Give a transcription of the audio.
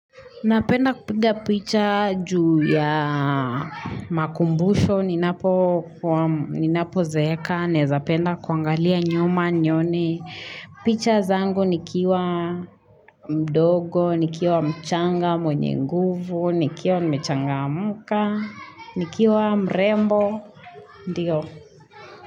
Napenda kupiga picha juu ya makumbusho, ninapozeeka, naeza penda kuangalia nyuma nione. Picha zangu nikiwa mdogo, nikiwa mchanga mwenye nguvu, nikiwa nimechachangamka, nikiwa mrembo, ndio.